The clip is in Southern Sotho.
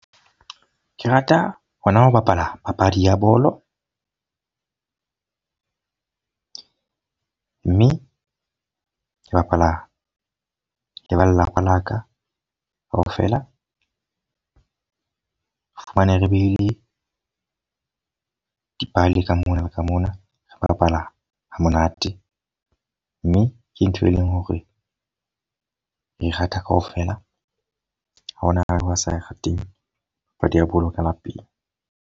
Ke rata hona ho bapala papadi ya bolo. mme ke bapala le ba lelapa la ka ka ofela. Re fumane re be le dipalo ka mona, ka mona re bapala ha monate. Mme ke ntho e leng hore re rata ka ofela. Ha hona a sa e rateng kapa di a boloka lapeng.